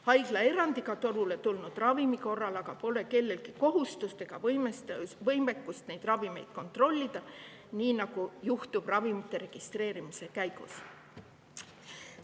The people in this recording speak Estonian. Haiglaerandiga turule tulnud ravimite korral pole aga kellelgi kohustust ega võimekust neid ravimeid kontrollida, nii nagu juhtub ravimite registreerimise käigus.